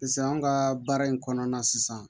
Sisan an ka baara in kɔnɔna na sisan